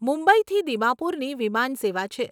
મુંબઈથી દિમાપુરની વિમાન સેવા છે.